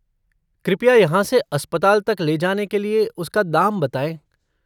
कृपया यहाँ से अस्पताल तक ले जाने के लिए उसका दाम बताएँ?